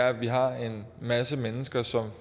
at vi har en masse mennesker som